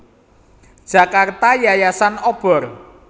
Jakarta Yayasan Obor